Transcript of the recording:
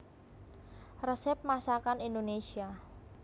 Resep Masakan Indonésia